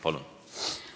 Palun!